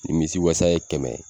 Nimisi wasa ye kɛmɛ ye